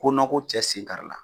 Ko ko cɛ sen kari la.